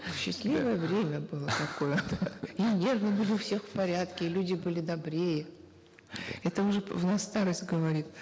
счастливое время было такое и нервы были у всех в порядке люди были добрее это уже в нас старость говорит